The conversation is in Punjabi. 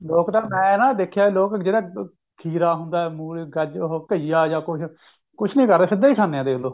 ਉਹ ਪਤਾ ਮੈਂ ਨਾ ਦੇਖਿਆ ਲੋਕ ਜਿਹੜਾ ਖੀਰਾ ਹੁੰਦਾ ਮੁੱਲੀ ਗਾਜਰ ਉਹ ਘੀਆ ਜਾ ਕੁੱਛ ਕੁੱਛ ਨਹੀਂ ਕਰਦੇ ਸਿਧਾ ਹੀ ਖਾਂਦੇ ਨੇ ਉਹ